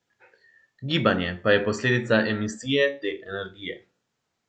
Gibanje pa je posledica emisije te energije.